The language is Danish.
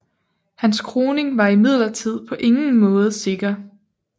Hans kroning var imidlertid på ingen måde sikker